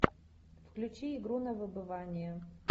включи игру на выбывание